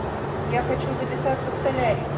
я хочу записаться в солярий